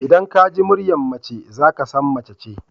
Idan ka ji muryar mace za ka san mace ce.